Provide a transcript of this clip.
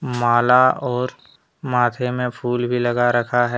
माला और माथे में फूल भी लगा रखा है।